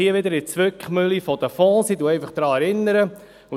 Wir sind hier wieder in der Zwickmühle der Fonds.